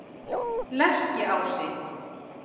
Lerkiási